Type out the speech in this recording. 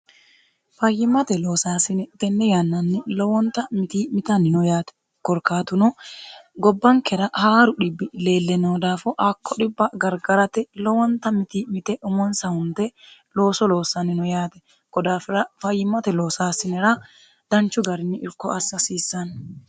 fayyimate loosaasine tenne yannanni lowonta miti mitannino yaate korkaatuno gobbankera haaru dhibbi leelle noo daafo akko dhibba gargarate lowonta miti mite umonsahunte looso loossannino yaate godaafira fayyimote loosaasinera danchu garini irko assiasiissanni